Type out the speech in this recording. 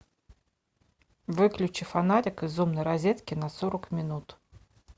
выключи фонарик из умной розетки на сорок минут